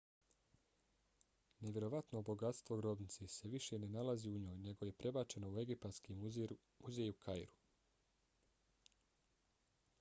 nevjerovatno bogatstvo grobnice se više ne nalazi u njoj nego je prebačeno u egipatski muzej u kairu